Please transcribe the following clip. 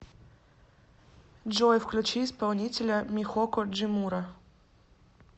джой включи исполнителя михоко джимура